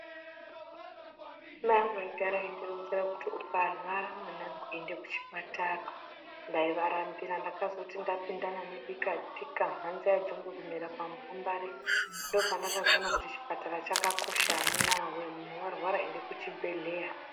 Mayangu aigara eindironzera kuti ukarwara mwanangu end ekuchipatara ndaivarambira ndakazoti ndapindana nebika tika mhanza yejongwe kumera oamupambare ndopandakazoona kuti chipatara chakakosha amunaa wee munhu warwara ende kuchibhedhleya.